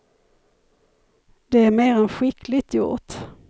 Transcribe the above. Det är mer än skickligt gjort.